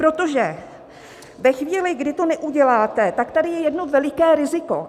Protože ve chvíli, kdy to neuděláte, tak tady je jedno veliké riziko.